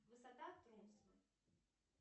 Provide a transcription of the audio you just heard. высота